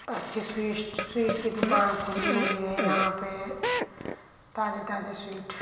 अच्छी स्विष्ट स्वीट की दुकान खुली हुई है यहाँ पे। ताजे ताजे स्वीट --